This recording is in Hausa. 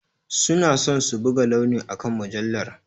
Suna son buga launi akan mujallar.